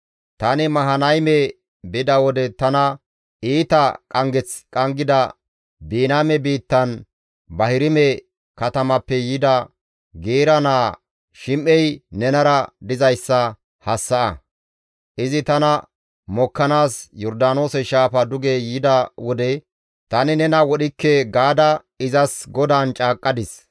«Tani Mahanayme bida wode tana iita qanggeth qanggida Biniyaame biittan Bahirime katamappe yida Geera naa Shim7ey nenara dizayssa hassa7a; izi tana mokkanaas Yordaanoose shaafa duge yida wode, ‹Tani nena wodhikke› gaada izas GODAAN caaqqadis.